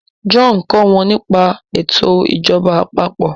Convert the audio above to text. John nkọ wón nípa eto ìjọba àpapọ̀